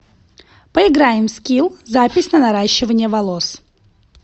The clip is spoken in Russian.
поиграем в скилл запись на наращивание волос